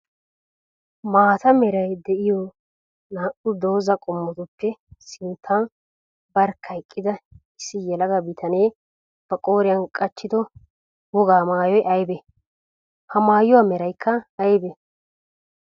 Maata meray de'iyoo naa'u dooza qommotuppe sintta barkka eqqidda issi yelaga bitane ba qooriyan qachchido wogaa maayoy aybee? Ha mayuwaa meraykka aybee?